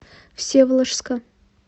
всеволожска